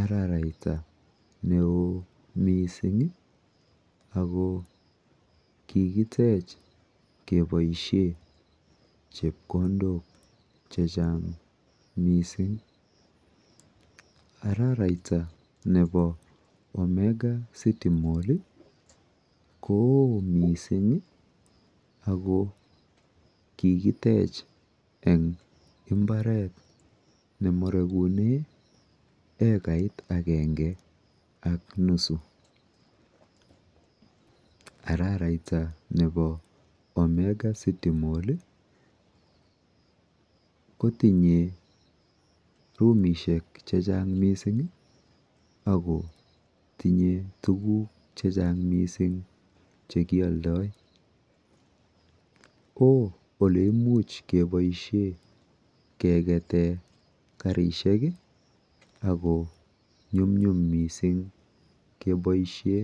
araraita neo mising ako kikitech keboishe chepkondok chechang mising. Araraita nepo Omega city mall ko oo mising ako kikitech eng mbaret nemarekune ekait akenge ak nusu. Araraita nepo Omega city mall kotinye rumishek chechang mising akotinye tuguk chechang mising chekialdoi. Oo oleimuch keboishe kekete kerishek ako nyumnyum mising keboishe ...